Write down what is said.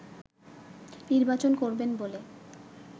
নির্বাচন করবেন বলে